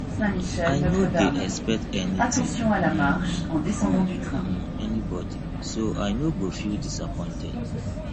i no dey expect anytin um from um anybody so i no go feel disappointed